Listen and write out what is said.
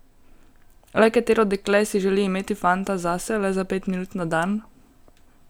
Le katero dekle si želi imeti fanta zase le za pet minut na dan?